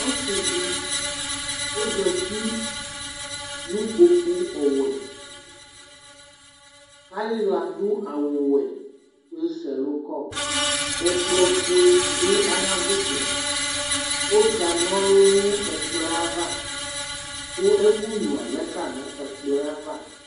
Ɔsidi ozati nu kpokuwɛ Ayiwla du awuwɛ kuesɛlu kɔ Ɛkplɔfue du ayavutsɛ Ɔka nɔlu nu ɛkplɔ yɛ ava ku ɛkunyua lɛ ka nu ɛkplɔ ava